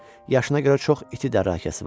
Yaşına görə çox iti dərrəkəsi var.